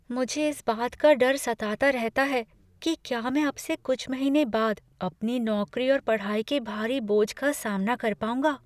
मुझे इस बात का डर सताता रहता है कि क्या मैं अब से कुछ महीने बाद अपनी नौकरी और पढ़ाई के भारी बोझ का सामना कर पाऊँगा।